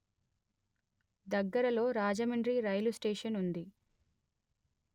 దగ్గరలో రాజమండ్రి రైలుస్టేషన్ ఉంది